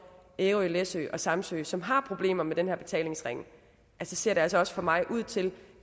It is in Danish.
ærø læsø og samsø som har problemer med den her betalingsring så ser det altså også for mig ud til